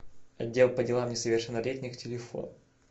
отдел по делам несовершеннолетних телефон